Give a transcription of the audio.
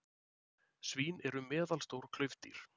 svín eru meðalstór klaufdýr